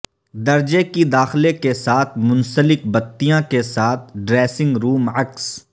درجہ کی داخلہ کے ساتھ منسلک بتیاں کے ساتھ ڈریسنگ روم عکس